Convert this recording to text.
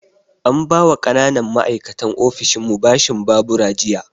An ba wa ƙananan ma'aikatan ofishinmu bashin babura jiya